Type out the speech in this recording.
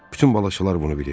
Bütün balaçalar bunu bilir.